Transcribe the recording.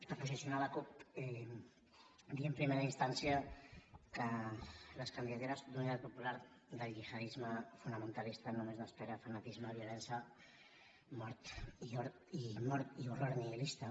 per posicionar la cup dir en primera instància que les candidatures d’unitat popular del gihadisme fonamentalista només n’esperen fanatisme violència mort i horror nihilista